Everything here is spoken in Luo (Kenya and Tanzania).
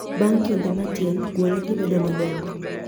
Bang kinde matin gwonyogi bedo madongo